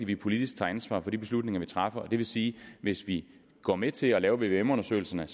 vi politisk tager ansvar for de beslutninger vi træffer det vil sige at hvis vi går med til at lave vvm undersøgelserne